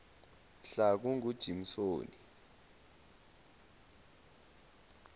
mhlakungujimsoni